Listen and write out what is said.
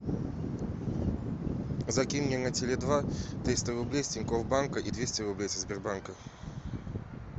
закинь мне на теле два триста рублей с тинькофф банка и двести рублей со сбербанка